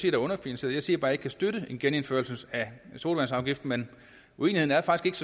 er underfinansieret jeg siger bare ikke kan støtte en genindførelse af sodavandsafgiften men uenigheden er faktisk